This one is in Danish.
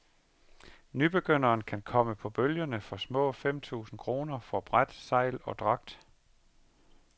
Nybegynderen kan komme på bølgerne for små femtusind kroner for bræt, sejl og dragt.